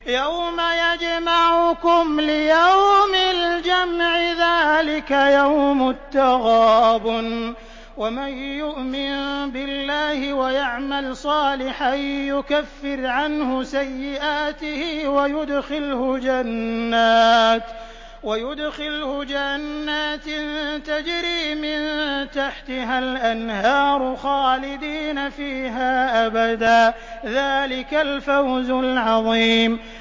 يَوْمَ يَجْمَعُكُمْ لِيَوْمِ الْجَمْعِ ۖ ذَٰلِكَ يَوْمُ التَّغَابُنِ ۗ وَمَن يُؤْمِن بِاللَّهِ وَيَعْمَلْ صَالِحًا يُكَفِّرْ عَنْهُ سَيِّئَاتِهِ وَيُدْخِلْهُ جَنَّاتٍ تَجْرِي مِن تَحْتِهَا الْأَنْهَارُ خَالِدِينَ فِيهَا أَبَدًا ۚ ذَٰلِكَ الْفَوْزُ الْعَظِيمُ